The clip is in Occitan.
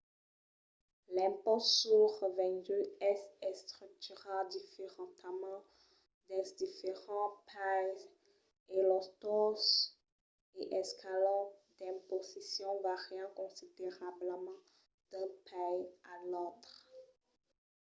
l'impòst sul revengut es estructurat diferentament dins diferents païses e los tausses e escalons d'imposicion vàrian considerablament d'un país a l'autre